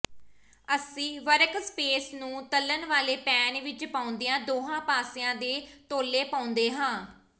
ਅਸੀਂ ਵਰਕਸਪੇਸ ਨੂੰ ਤਲ਼ਣ ਵਾਲੇ ਪੈਨ ਵਿਚ ਪਾਉਂਦਿਆਂ ਦੋਹਾਂ ਪਾਸਿਆਂ ਦੇ ਤੌਲੇ ਪਾਉਂਦੇ ਹਾਂ